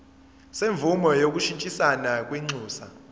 semvume yokushintshisana kwinxusa